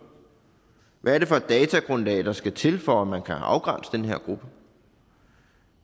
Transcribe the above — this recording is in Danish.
hvad er det for et datagrundlag der skal til for at man kan afgrænse den her gruppe